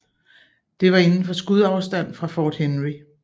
Det var inden for skudafstand fra Fort Henry